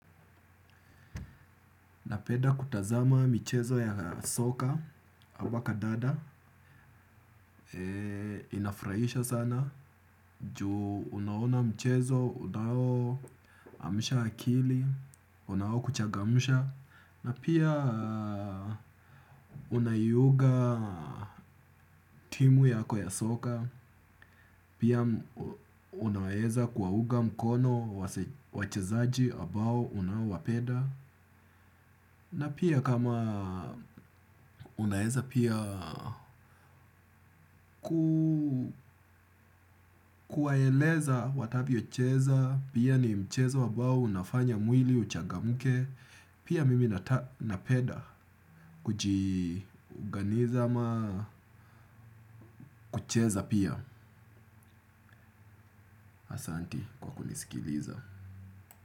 Napeda kutazama mchezo ya soka, abaka dada, inafraisha sana, juu unaona mchezo, unao, amisha akili, unao kuchagamusha, na pia unaiyuga timu yako ya soka, pia unaeza kuwauga mkono, wachezaji, abao, unaowapeda. Na pia kama unaeza pia kuwaeleza watavyo cheza, pia ni mchezo wabao nafanya mwili uchagamuke, pia mimi napeda kujiuganiza ama kucheza pia asanti kwa kunisikiliza.